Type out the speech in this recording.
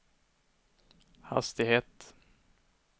hastighet